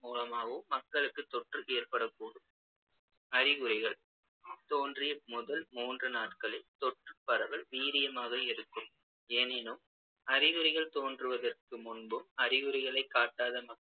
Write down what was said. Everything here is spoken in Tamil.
மூலமாகவும் மக்களுக்குத் தொற்று ஏற்படக்கூடும் அறிகுறிகள் தோன்றிய முதல் மூன்று நாட்களில் தொற்றுப் பரவல் வீரியமாக இருக்கும் எனினும் அறிகுறிகள் தோன்றுவதற்கு முன்பும் அறிகுறிகளைக் காட்டாத